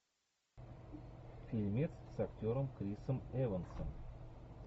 фильмец с актером крисом эвансом